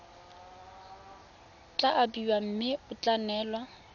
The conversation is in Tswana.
tla abiwa mme ya neelwa